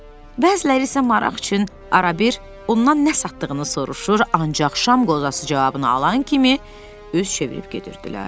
Bəziləri isə maraq üçün arabir ondan nə satdığını soruşur, ancaq şam qozası cavabını alan kimi üz çevirib gedirdilər.